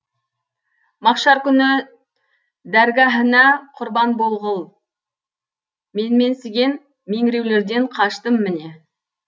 махшар күні дәргәһіна құрбан болғыл менменсіген меңіреулерден қаштым міне